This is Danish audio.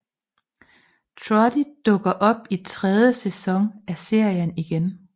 Trudy dukker op i sæson 3 af serien igen